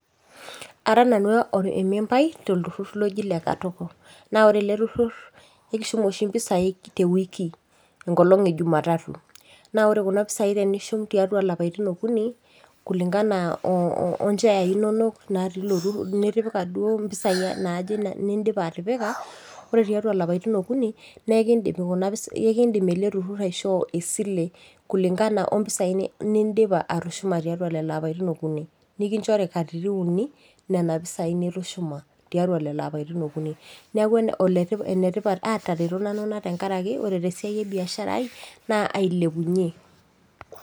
Ara nanu emembai tolturrur loji le Katoko. Na ore ele turrurr ekishum oshi impisai tewiki. Enkolong ejumatatu. Na ore kuna pisai tenishum tiatua lapaitin okuni, kulingana enaa oncheyai inonok natii ilo turrurr nitipika duo impisai nidipa atipika, ore tiatua ilapaitin okuni, nekidim ele turrurr aishoo esile kulingana ompisai nidipa atushuma tiatua lelo apaitin okuni. Nikinchori katitin uni nena pisai nitushuma tiatua lelo apaitin okuni. Neeku enetipat atareto nanu ina tenkaraki ore tesiai ebiashara ai, naa ailepunye.